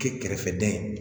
Kɛ kɛrɛfɛdɛn